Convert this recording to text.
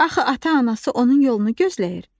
Axı ata-anası onun yolunu gözləyir.